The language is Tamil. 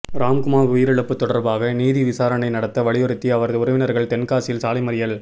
ராம்குமார் உயிரிழப்பு தொடர்பாக நீதி விசாரணை நடத்த வலியுறுத்தி அவரது உறவினர்கள் தென்காசியில் சாலை மறியல்